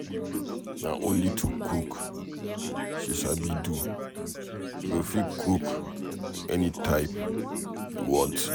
Na only to cook she sabi do, she go fit cook any type you want.